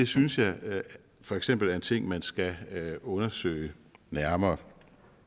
synes jeg for eksempel er en ting man skal undersøge nærmere